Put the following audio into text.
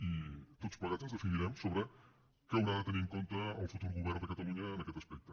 i tots plegats ens definirem sobre què haurà de tenir en compte el futur govern de catalunya en aquest aspecte